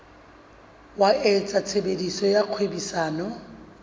wa etsa tshebetso tsa kgwebisano